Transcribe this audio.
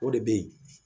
O de bɛ yen